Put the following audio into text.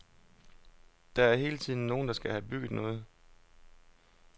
Der er hele tiden nogen, der skal have bygget noget.